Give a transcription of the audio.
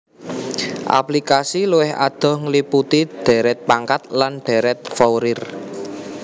Aplikasi luwih adoh ngliputi dhèrèt pangkat lan dhèrèt Fourier